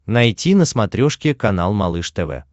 найти на смотрешке канал малыш тв